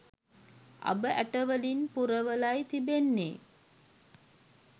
අබ ඇටවලින් පුරවලයි තිබෙන්නේ